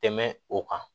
Tɛmɛ o kan